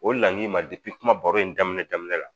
O laɲini in ma kuma baro in daminɛ daminɛ la